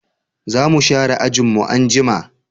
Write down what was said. Zamu share ajin mu anjima